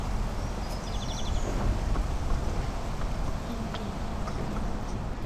тенге